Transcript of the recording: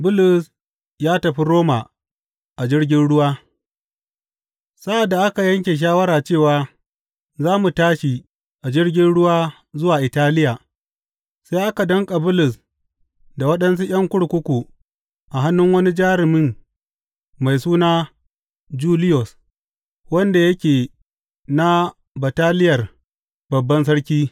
Bulus ya tafi Roma a jirgin ruwa Sa’ad da aka yanke shawara cewa za mu tashi a jirgin ruwa zuwa Italiya, sai aka danƙa Bulus da waɗansu ’yan kurkuku a hannun wani jarumin mai suna Juliyos, wanda yake na Bataliyar Babban Sarki.